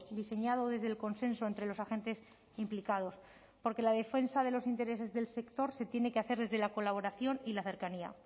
diseñado desde el consenso entre los agentes implicados porque la defensa de los intereses del sector se tiene que hacer desde la colaboración y la cercanía